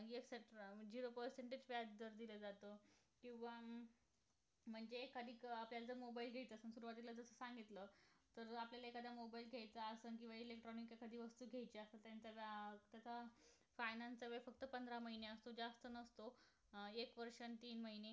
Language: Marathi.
तीन महिने